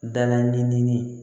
Dala ɲini ni